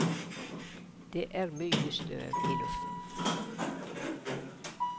Det er mye støv i luften.